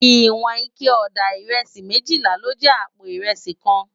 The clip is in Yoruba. Iwòn iké òdá irèsí méjìlá ló jè àpó irèsí kán